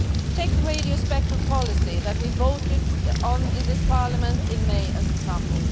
Take the radio spectrum policy that we voted on in this Parliament in May as an example.